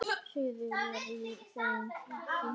Suður var í þeim flokki.